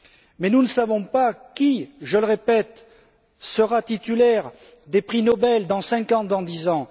Mais nous ne savons pas qui je le répète sera titulaire des prix Nobel dans cinq ans ou dix ans.